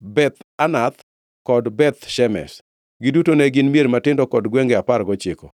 Beth Anath kod Beth Shemesh. Giduto ne gin mier matindo kod gwenge apar gochiko.